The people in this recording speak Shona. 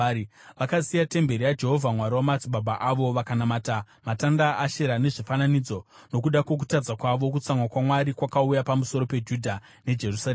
Vakasiya temberi yaJehovha, Mwari wamadzibaba avo, vakanamata matanda aAshera nezvifananidzo. Nokuda kwokutadza kwavo, kutsamwa kwaMwari kwakauya pamusoro peJudha neJerusarema.